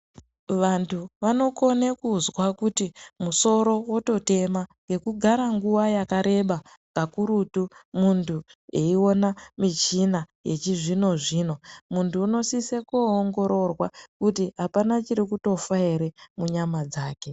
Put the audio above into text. Vantu vanokone kuzwa kuti musoro wototema ngekugara nguva yakareba kakurutu muntu aiona michina yechizvino zvino. Muntu unosisa koongororwa kuti apana chirikutofa ere munyama dzake